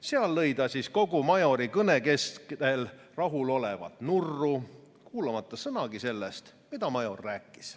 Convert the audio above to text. Seal lõi ta siis kogu Majori kõne kestel rahulolevalt nurru, kuulamata sõnagi sellest, mida Major rääkis.